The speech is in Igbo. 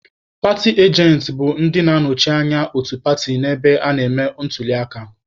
Paatị ajentị bụ ndị na-anọchite anya otu paatị n'ebe a na-eme ntuliaka.